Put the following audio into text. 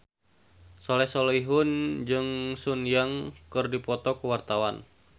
Soleh Solihun jeung Sun Yang keur dipoto ku wartawan